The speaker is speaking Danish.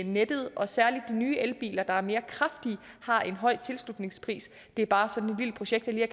nettet og særlig de nye elbiler der er mere kraftige har en høj tilslutningspris det er bare sådan et vildt projekt jeg